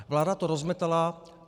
Vláda to rozmetala.